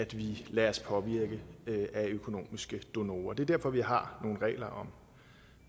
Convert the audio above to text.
vi lader os påvirke af økonomiske donorer det er derfor vi har nogle regler om